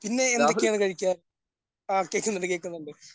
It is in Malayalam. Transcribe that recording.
ഇന്ന് എന്തൊക്കെയാണ് കഴിക്കാൻ? ആ കേക്കുന്നുണ്ട് കേക്കുന്നുണ്ട്.